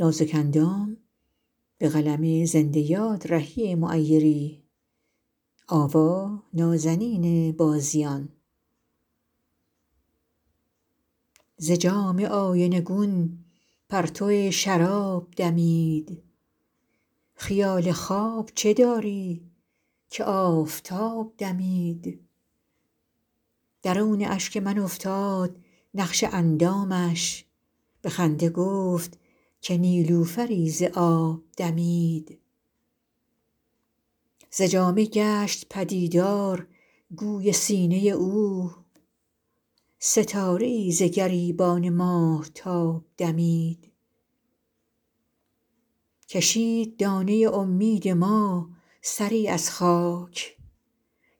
ز جام آینه گون پرتو شراب دمید خیال خواب چه داری که آفتاب دمید درون اشک من افتاد نقش اندامش به خنده گفت که نیلوفری ز آب دمید ز جامه گشت پدیدار گوی سینه او ستاره ای ز گریبان ماهتاب دمید کشید دانه امید ما سری از خاک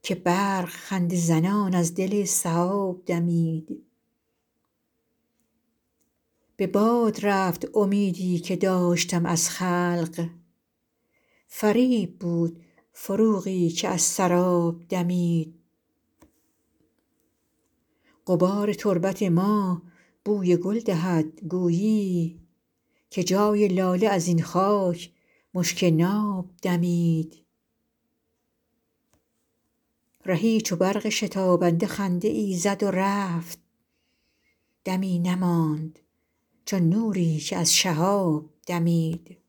که برق خنده زنان از دل سحاب دمید به باد رفت امیدی که داشتم از خلق فریب بود فروغی که از سراب دمید غبار تربت ما بوی گل دهد گویی که جای لاله ازین خاک مشک ناب دمید رهی چو برق شتابنده خنده ای زد و رفت دمی نماند چو نوری که از شهاب دمید